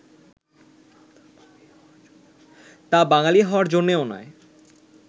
তা বাঙালী হওয়ার জন্যও নয়